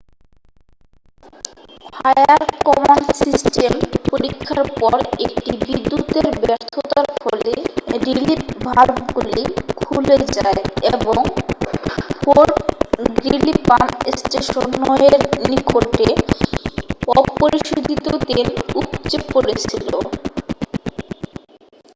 fire command system পরীক্ষার পর একটি বিদ্যুতের ব্যর্থতার ফলে রিলিফ ভালভগুলি খুলে যায় এবং ফোর্ট গ্রিলি পাম্প স্টেশন 9 এর নিকটে অপরিশোধিত তেল উপচে পড়েছিল